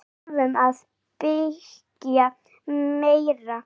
Við þurfum að byggja meira.